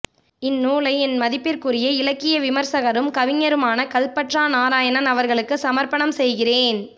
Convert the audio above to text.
இந்நூலை என் மதிப்பிற்குரிய இலக்கிய விமரிசகரும் கவிஞருமான கல்பற்றா நாராயணன் அவர்களுக்குச் சமர்ப்பணம் செய்கிறேன்